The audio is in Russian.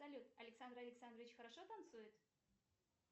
салют александр александрович хорошо танцует